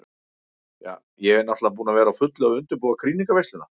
Ja, ég er náttúrulega búin að vera á fullu að undirbúa krýningarveisluna.